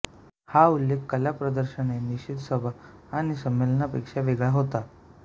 हा उल्लेख कला प्रदर्शने निषेधसभा आणि संमेलनांपेक्षा वेगळा होता